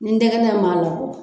Ni ntɛgɛnɛn b'a la